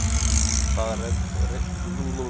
Það reyndist enn ein sagan.